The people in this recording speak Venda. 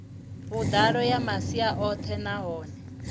vhuḓalo ya masia oṱhe nahone